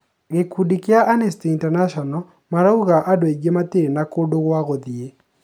Gĩkundi kĩa Amnesty International marauga andũ aingĩ matirĩ na kũndũ gwa gũthĩĩ